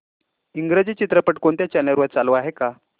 इंग्रजी चित्रपट कोणत्या चॅनल वर चालू आहे का